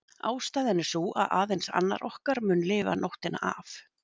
Ástæðan er sú að aðeins annar okkar mun lifa nóttina af.